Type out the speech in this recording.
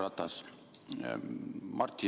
Aitäh!